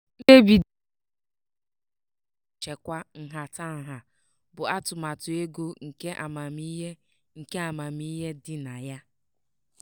mkpebi di na nwunye ahụ ike ego nchekwa nhatanha bụ atụmatụ ego nke amamihe nke amamihe dị na ya.